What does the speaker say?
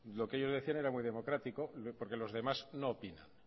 lo que ellos decían era muy democrático porque los demás no opinan